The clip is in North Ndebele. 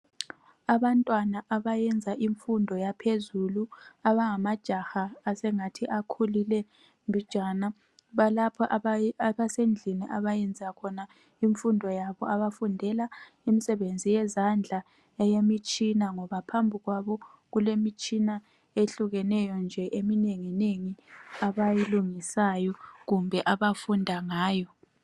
Abantwana abayenza imfundo yaphezulu abangamajaha asengathi akhulile mbijana, balapho abasendlini abayenza khona imfundo yabo. Bafundela imisebenzi yezandla eyemitshina ngoba phambi kwabo kulemitshina ehhlukeneyo nje eminenginengi abayilungisayo kumbe abasebenza ngayo.